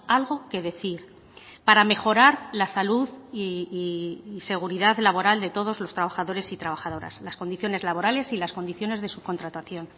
algo que decir para mejorar la salud y seguridad laboral de todos los trabajadores y trabajadoras las condiciones laborales y las condiciones de subcontratación